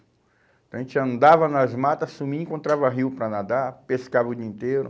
Então a gente andava nas matas, sumia, encontrava rio para nadar, pescava o dia inteiro.